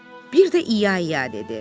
Bir də ia ia dedi.